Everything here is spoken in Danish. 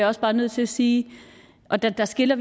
også bare nødt til at sige og det adskiller